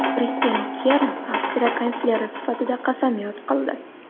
Kristian Kern Avstriya kansleri sifatida qasamyod qildi.